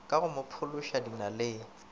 ka go mo phološa dinaleng